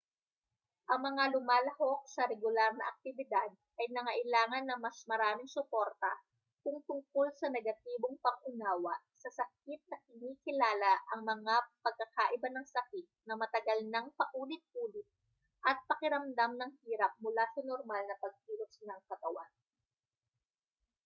ang mga lumalahok sa regular na aktibidad ay nangailangan ng mas maraming suporta kung tungkol sa negatibong pang-unawa sa sakit na kinikilala ang mga pagkakaiba ng sakit na matagal nang paulit-ulit at pakiramdam ng hirap mula sa normal na pagkilos ng katawan